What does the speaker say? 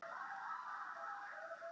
Hvað þýðir þetta fyrir leikmenn?